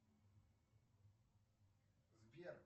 сбер